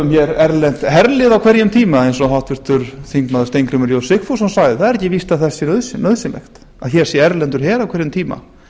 hér erlent herlið á hverjum tíma eins og háttvirtur þingmaður steingrímur j sigfússon sagði það er ekki víst að það sé nauðsynlegt að hér sé erlendur her á hverjum tíma